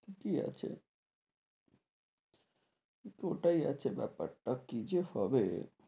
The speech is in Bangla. ঠিকি আছে কিন্তু ওটাই আছে বেপার টা কি যে হবে,